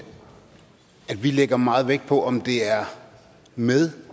vi lægger meget vægt på om det er med